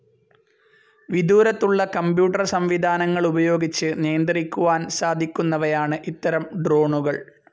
വിദൂരത്തുള്ള computer സംവിധാനങ്ങളുപയോഗിച്ച് നിയന്ത്രിക്കുവാൻ സാധിക്കുന്നവയാണ് ഇത്തരം ഡ്രോണുകൾ